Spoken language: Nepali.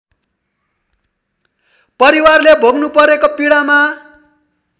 परिवारले भोग्नुपरेको पीडामा